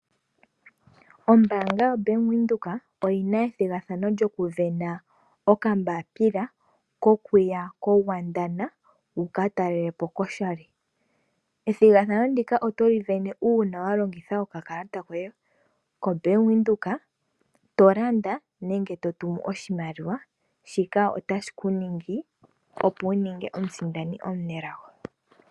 Ombaanga yoBank Windhoek oyina ethigathano lyokuvena okambapila kokuya ko Godwana wuka talelepo koshali, ethigathano ndika otoli vene uuna walongitha okakalata koye koBank Windhoek tolanda nenge totumu oshimaliwa shika otashi kuningi opo wuninge omusindani omunelago.